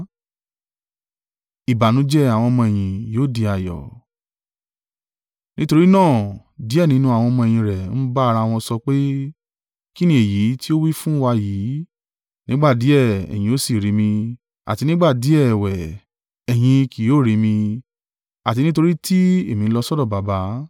Nítorí náà díẹ̀ nínú àwọn ọmọ-ẹ̀yìn rẹ̀ ń bá ara wọn sọ pé, “Kín ni èyí tí o wí fún wa yìí, ‘Nígbà díẹ̀, ẹ̀yin ó sì rí mi, àti nígbà díẹ̀ ẹ̀wẹ̀, ẹ̀yin kì yóò rí mi, àti, nítorí tí èmi ń lọ sọ́dọ̀ Baba’?”